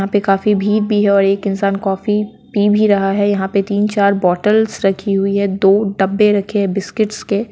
यहाँ पे काफी भीड़ भी है और एक इंसान कॉफी पी भी रहा है यहाँ पे तीन-चार बॉटल्स रखी हुई है दो डब्बे रखे हैं बिस्किट्स के।